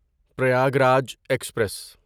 Prayagraj express